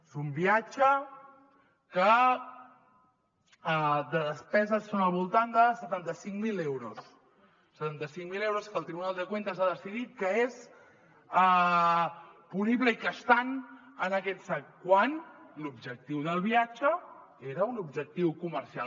és un viatge que de despeses són al voltant de setanta cinc mil euros setanta cinc mil euros que el tribunal de cuentas ha decidit que són punibles i que estan en aquest sac quan l’objectiu del viatge era un objectiu comercial